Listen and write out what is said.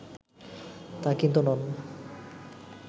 তা কিন্তু নন